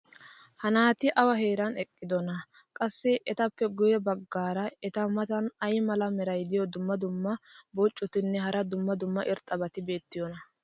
ha naati awa heeran eqqidonaa? qassi etappe guye bagaara eta matan ay mala meray diyo dumma dumma qommo bonccotinne hara dumma dumma irxxabati beetiyoonaa?